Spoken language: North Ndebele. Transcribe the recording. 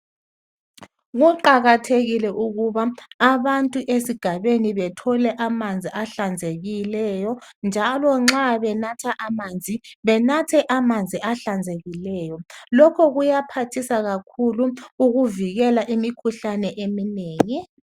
Kuqakathekile ukuba abantu esigabeni bathole amanzi ahlanzekileyo njalo nxa benatha amanzi benathe amanzi ahlanzekileyo lokhu kuyaphathisa kakhulu ukuvikela imikhuhlane eminengi.